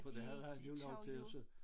For det havde han alligevel lov til også